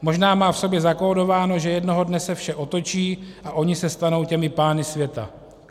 Možná má v sobě zakódováno, že jednoho dne se vše otočí a oni se stanou těmi pány světa."